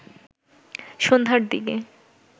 সন্ধ্যার দিকে